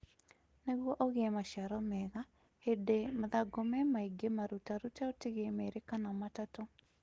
Nĩgwo ugĩe maciaro mega, hĩndĩ mathangũ memaingĩ marutarute ũtigie meri kana matatu